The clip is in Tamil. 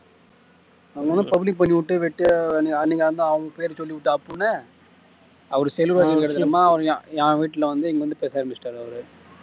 அவங்க என்ன public பண்ணி விட்டுட்டு வெட்டியா அன்னைக்கு அவங்க பேர சொல்லிப்புட்டா அப்படின்னு அவரு செல்வராஜ் கிட்ட அம்மா என் வீட்ல இங்க வந்து வந்து பேச ஆரம்பிச்சிட்டாரு அவர்